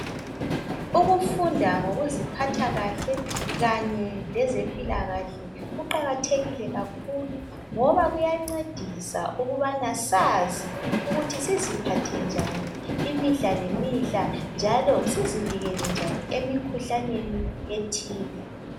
Ukufunda ngokuziphatha kahle kanye lezempilakahle kuqakathekile kakhulu ngoba kuyancedisa ukubana sazi siziphathe njani imihla lemihla njalo sizivikele njani emikhuhlaneni ethile.